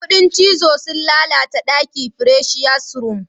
Kudin cizo sun lalata daki presious room.